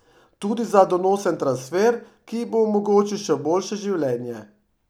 Tudi za donosen transfer, ki ji bo omogočil še boljše življenje.